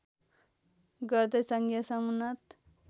गर्दै सङ्घीय समुन्नत